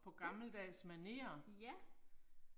Mh. Ja